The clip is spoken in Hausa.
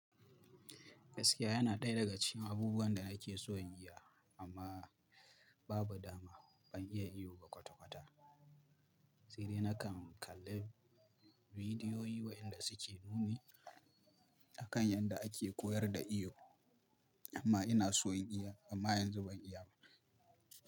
Gaskiya yana daya daga cikin abubuwan da nake so in yi, amma babu dama ban iya iyo ba kwata-kwata. Tsire nakan kalla bidiyoyi waɗanda suke nuni akan yadda ake koyar da iyo, amma ina so in yi amma yanzu ban iya ba.